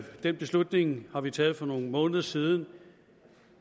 den beslutning har vi taget for nogle måneder siden